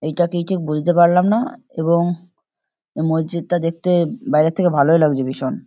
এইটা কি ঠিক বুঝতে পারলাম না এবং মসজিদটা দেখতে বাইরে থেকে ভালোই লাগছে ভীষণ।